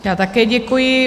Já také děkuji.